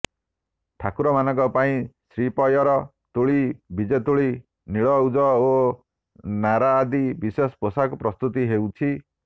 ଠାକୁରମାନଙ୍କ ପାଇଁ ଶ୍ରୀପୟର ତୁଳି ବିଜେତୁଳି ନୀଳଉଜ ଓ ନାରା ଆଦି ବିଶେଷ ପୋଷାକ ପ୍ରସ୍ତୁତି ହେଉଛି